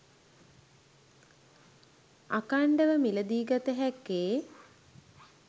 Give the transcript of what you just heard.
අඛණ්ඩව මිලදී ගත හැක්කේ